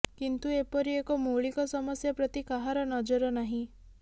କିନ୍ତୁ ଏପରି ଏକ ମୌଳିକ ସମସ୍ୟା ପ୍ରତି କାହାର ନଜର ନାହିଁ